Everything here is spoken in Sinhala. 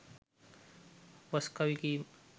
වස් කවි කීම